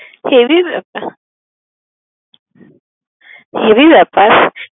Heavy ব্যাপার, heavy ব্যাপার